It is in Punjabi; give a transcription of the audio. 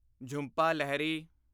ਝੁੰਪਾ ਲਹਿਰੀ